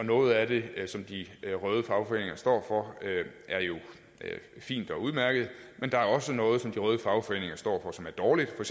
noget af det som de røde fagforeninger står for er jo fint og udmærket men der er også noget som de røde fagforeninger står for som er dårligt for